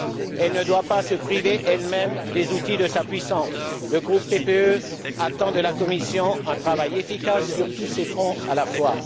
Elle ne doit pas se priver elle même des outils de sa puissance. Le groupe PPE attend de la Commission un travail efficace sur tous ces fronts à la fois.